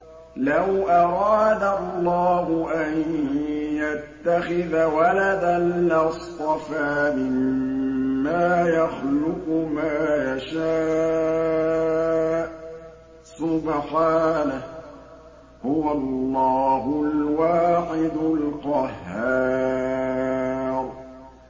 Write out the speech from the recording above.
لَّوْ أَرَادَ اللَّهُ أَن يَتَّخِذَ وَلَدًا لَّاصْطَفَىٰ مِمَّا يَخْلُقُ مَا يَشَاءُ ۚ سُبْحَانَهُ ۖ هُوَ اللَّهُ الْوَاحِدُ الْقَهَّارُ